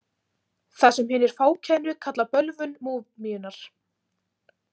Það sem hinir fákænu kalla bölvun múmíunnar.